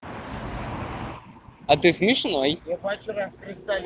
а ты смешной